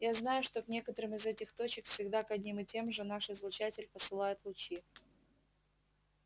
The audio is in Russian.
я знаю что к некоторым из этих точек всегда к одним и тем же наш излучатель посылает лучи